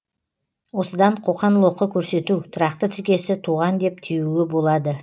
осыдан қоқан лоқы көрсету тұрақты тіркесі туған деп түюге болады